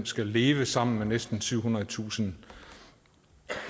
skal leve sammen med næsten syvhundredetusind